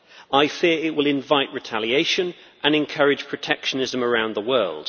I fear it will invite retaliation and encourage protectionism around the world.